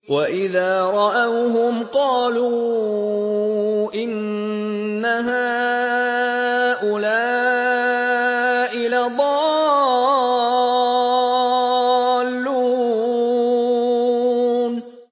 وَإِذَا رَأَوْهُمْ قَالُوا إِنَّ هَٰؤُلَاءِ لَضَالُّونَ